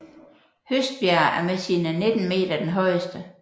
Høstbjerg er med sine 19 meter den højeste